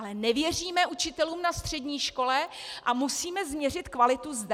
Ale nevěříme učitelům na střední škole a musíme změřit kvalitu zde.